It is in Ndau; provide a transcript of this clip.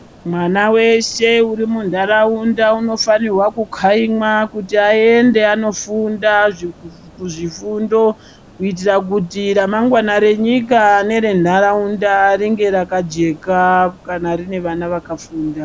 Mwana weshe uri mundaraunda unofanirwaa kukaimwa kuti aende anofunda kuzvifundo kuitira kuti ramangwana renyika nerenharaunda ringe rakajeka kana rine vana vakafunda.